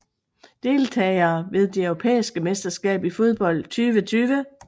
Deltagere ved det europæiske mesterskab i fodbold 2020